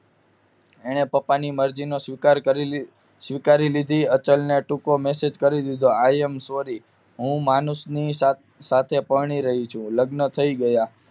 એને પોતાના પપ્પા ની મરજી નો સ્વીકાર કરી સ્વીકારી લીધી અતચલ ને ટૂંકો મેસેજ કરી દીધો આઈ એમ સોરી માનુસ ની સાથે પરણી રહી છું લગ્ન થઈ ગયા